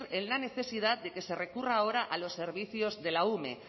en la necesidad de que se recurra ahora a los servicios de la ume